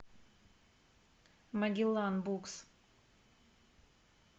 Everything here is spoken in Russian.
магеллан букс